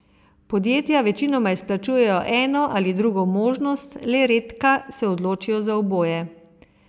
Podjetja večinoma izplačujejo eno ali drugo možnost, le redka se odločijo za oboje.